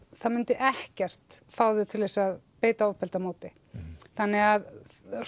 það myndi ekkert fá þau til þess að beita ofbeldi á móti þannig að